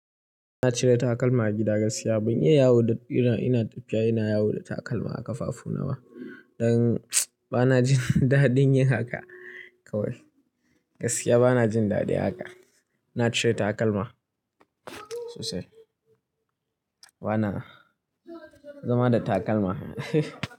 Ina cire takalma a gida gaskiya. Ban iya yawo da ina tafiya ina yawo da takalma a ƙafafu nawa. Don bana jin dadin yin haka kawai. Gaskiya bana jin daɗi a haka. Na cire takalma sosai. Bana zama da takalma.